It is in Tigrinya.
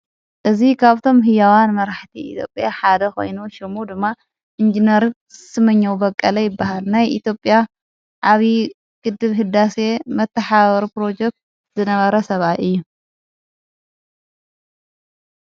እዙ ኻብቶም ሕያዋን መራሕቲ ኢጴያ ሓደ ኾይኑ ሹሙ ድማ ኢንጀነር ስመኛዉ በቀለ ይበሃል ናይ ኢቲጴያ ዓብዪ ግድብ ህዳሴየ መተሓወሩ ጵሮጀክት ዝነበረ ሰባይ እየ።